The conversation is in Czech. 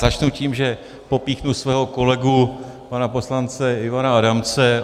Začnu tím, že popíchnu svého kolegu pana poslance Ivana Adamce.